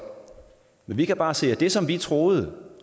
men vi kan bare se at det som vi troede